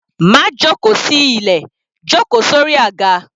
Má jóko sí ilẹ̀, jó ko sórí àga.